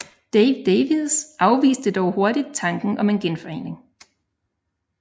Dave Davies afviste dog hurtigt tanken om en genforening